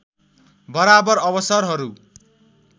बराबर अवसरहरू